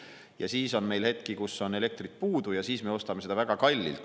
Ja siis on meil hetki, kui on elektrit puudu ja me ostame seda väga kallilt.